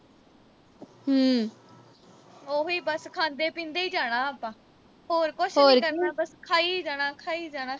ਹੋਰ ਕੀ ਬਸ ਖਾਂਦੇ-ਪੀਂਦੇ ਹੀ ਜਾਣਾ ਆਪਾਂ ਹੋਰ ਕੁਸ਼ ਨੀਂ ਕਰਨਾ। ਬਸ ਖਾਈ ਜਾਣਾ, ਖਾਈ ਜਾਣਾ।